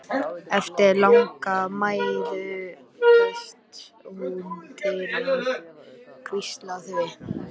Eftir langa mæðu fæst hún til að hvísla því.